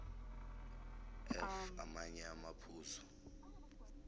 f amanye amaphuzu